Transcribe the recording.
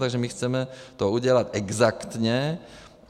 Takže my chceme to udělat exaktně.